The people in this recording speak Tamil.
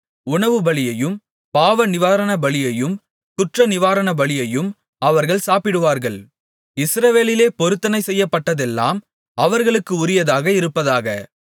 உணவுபலியையும் பாவநிவாரணபலியையும் குற்றநிவாரணபலியையும் அவர்கள் சாப்பிடுவார்கள் இஸ்ரவேலிலே பொருத்தனை செய்யப்பட்டதெல்லாம் அவர்களுக்கு உரியதாக இருப்பதாக